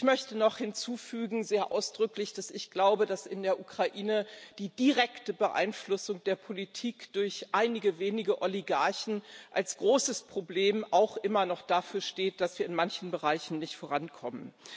Ich möchte noch sehr ausdrücklich hinzufügen, dass ich glaube, dass in der Ukraine die direkte Beeinflussung der Politik durch einige wenige Oligarchen als großes Problem auch immer noch dafür steht, dass wir in manchen Bereichen nicht vorankommen.